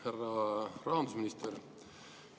Härra rahandusminister!